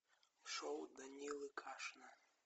шоу данилы кашина